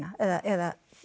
eða